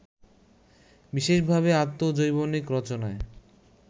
বিশেষভাবে আত্মজৈবনিক রচনায়